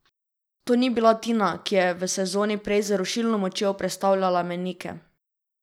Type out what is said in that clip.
To ni bila Tina, ki je v sezoni prej z rušilno močjo prestavljala mejnike.